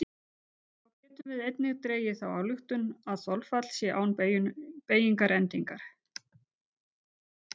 Þá getum við einnig dregið þá ályktun að þolfall sé án beygingarendingar.